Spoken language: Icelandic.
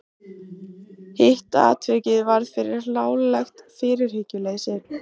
Hitt atvikið varð fyrir hlálegt fyrirhyggjuleysi.